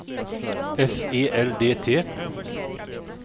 F E L D T